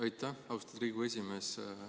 Aitäh, austatud Riigikogu esimees!